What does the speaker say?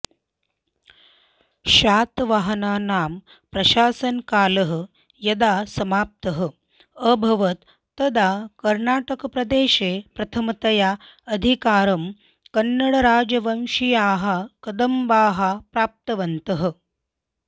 शातवाहनानां प्रशासनकालः यदा समाप्तः अभवत् तदा कर्णाटकप्रदेशे प्रथमतया अधिकारं कन्नडराजवंशीयाः कदम्बाः प्राप्तवन्तः